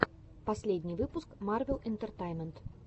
последний выпуск марвел интертеймент